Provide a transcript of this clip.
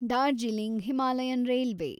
Darjeeling Himalayan railway